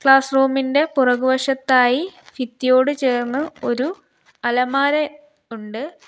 Class റൂമിന്റെ പുറകു വശത്തായി ഫിത്തിയോട് ചേർന്ന് ഒരു അലമാര ഉണ്ട്.